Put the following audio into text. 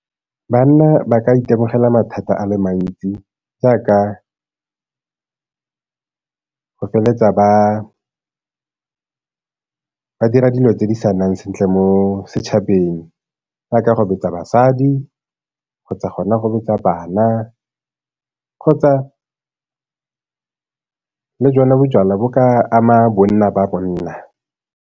Banna ba ka itemogela mathata a le mantsi jaaka go feletsa ba ba dira dilo tse di sa nnang sentle mo setšhabeng jaaka go betsa basadi kgotsa gona go betsa bana kgotsa le jona bojalwa bo ka ama bonna ba bonna.